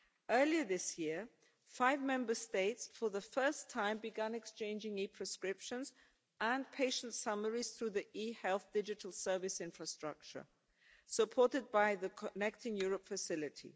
Earlier this year, for the first time, five Member States began exchanging e-prescriptions and patient summaries through the eHealth Digital Service Infrastructure, supported by the Connecting Europe Facility.